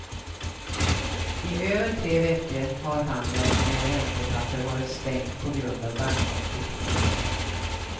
I över tre veckor har handeln med räntepapper varit stängd på grund av bankkonflikten.